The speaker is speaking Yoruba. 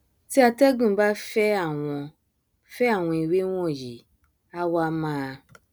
tí atẹgùn bá fẹ àwọn fẹ àwọn ewé wọnyí á wá máa